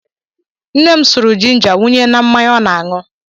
Nne m suru jinja wụnye na mmanya ọ na-aṅụ.